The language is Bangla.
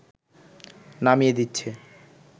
নামিয়ে দিচ্ছে